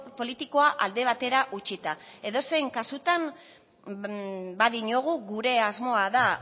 politikoa alde batera utzita edozein kasutan badiogu gure asmoa dela